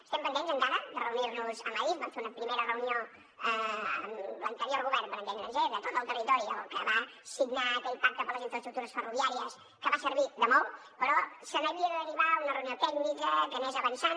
estem pendents encara de reunir nos amb adif vam fer una primera reunió amb l’anterior govern per entendre’ns de tot el territori el que va signar aquell pacte per a les infraestructures ferroviàries que va servir de molt però se n’havia de derivar una reunió tècnica que anés avançant